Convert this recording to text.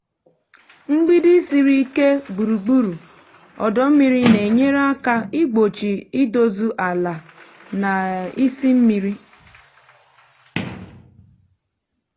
mgbidi siri ike gburugburu ọdọ mmiri na-enyere aka igbochi idozu ala na um isị mmiri.